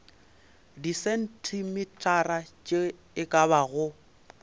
disentimetara tše e ka bago